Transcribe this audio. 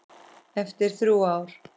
Eftir þrjú ár.